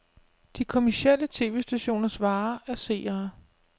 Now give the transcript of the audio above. De kommercielle tv-stationers vare er seere.